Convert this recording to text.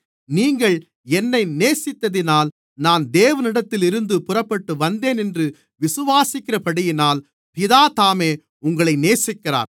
நீங்கள் என்னை நேசித்தத்தினால் நான் தேவனிடத்திலிருந்து புறப்பட்டுவந்தேன் என்று விசுவாசிக்கிறபடியினால் பிதா தாமே உங்களை நேசிக்கிறார்